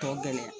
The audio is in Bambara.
Tɔ gɛlɛnya